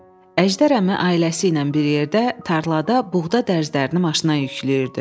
Əjdər əmi ailəsi ilə bir yerdə tarlada buğda dərzlərini maşına yükləyirdi.